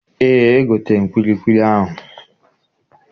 Eé, egotere m kwilikwili ahụ.